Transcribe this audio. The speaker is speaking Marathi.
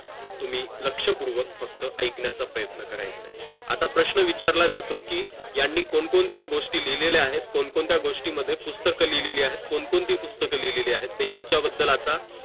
तुम्ही लक्षपूर्वक फक्त अयकन्याच प्रयत्न करायचं आहे आता प्रश्न विचारला जातो कि यांनी कोण कोणत्या गोष्टी लिहिलेल्या आहेत कोण कोणत्या मध्ये पुस्तक लिहिलेल्या आहेत कोण कोणती पुस्तक लिहिलेली आहेत याचा बद्दल आता